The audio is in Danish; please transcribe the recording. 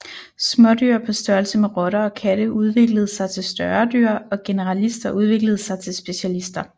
Smådyr på størrelse med rotter og katte udviklede sig til større dyr og generalister udviklede sig til specialister